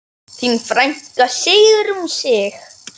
Þín frænka Sigrún Sig.